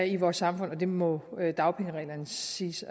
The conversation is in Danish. i vores samfund og det må dagpengereglerne siges